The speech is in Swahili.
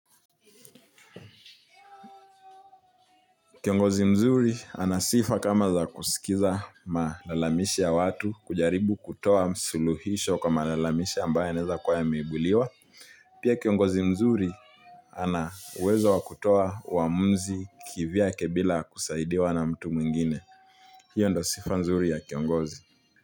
Kiongozi mzuri ana sifa kama za kusikiza malalamishi ya watu kujaribu kutoa suluhisho kwa malalamishi ambaye yanaeza kuwa yameibuliwa. Pia kiongozi mzuri ana uwezo wa kutoa waamuzi kivyake bila kusaidiwa na mtu mwingine. Hio ndo sifa nzuri ya kiongozi.